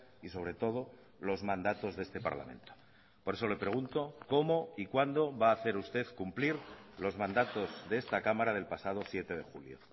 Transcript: y sobre todo los mandatos de este parlamento por eso le pregunto cómo y cuándo va a hacer usted cumplir los mandatos de esta cámara del pasado siete de julio